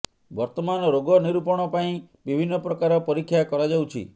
ବର୍ତ୍ତମାନ ରୋଗ ନିରୂପରଣ ପାଇଁ ବିଭିନ୍ନ ପ୍ରକାର ପରୀକ୍ଷା କରାଯାଉଛି